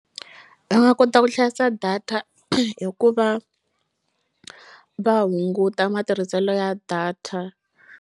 Va nga kota ku hlayisa data hi ku va va hunguta matirhiselo ya data.